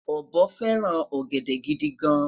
obo feran ogede gidi gan